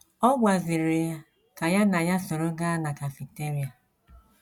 Ọ gwaziri ya ka ya na ya soro gaa na kafiteria.